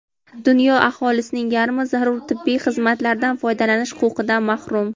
dunyo aholisining yarmi zarur tibbiy xizmatlardan foydalanish huquqidan mahrum.